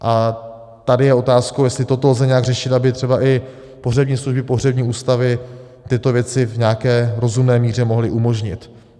A tady je otázkou, jestli toto lze nějak řešit, aby třeba i pohřební služby, pohřební ústavy tyto věci v nějaké rozumné míře mohly umožnit.